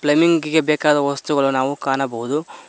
ನಿಂಕಿಗೆ ಬೇಕಾದ ವಸ್ತುಗಳು ನಾವು ಕಾಣಬಹುದು.